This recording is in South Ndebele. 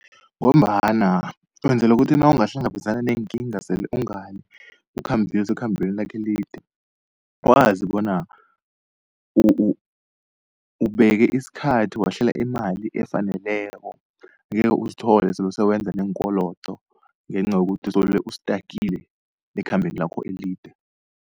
Ngombana wenzela ukuthi nawungahlangabezana neenkinga sele ungale usekhambeni lakho elide, wazi bona ubeke isikhathi wahlela imali efaneleko, angeke uzithole sele sewenza neenkolodo ngenca yokuthi uzobe ustakile ekhambeni lakho elide.